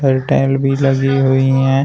और टाइल भी लगी हुई है।